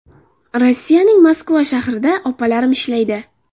Rossiyaning Moskva shahrida opalarim ishlaydi.